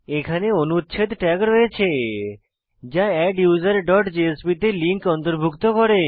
এখানে অনুচ্ছেদ ট্যাগ রয়েছে যা adduserজেএসপি তে লিঙ্ক অন্তর্ভুক্ত করে